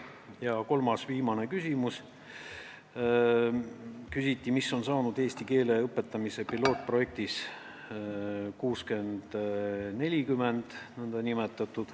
Ja kolmas, viimane küsimus: mis on saanud eesti keele õpetamise pilootprojektist, nn 60 : 40-st?